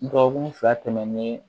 Dɔgɔkun fila tɛmɛnen